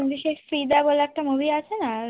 ওই যে সেই ফিদা বলে একটা movie আছে না দারুন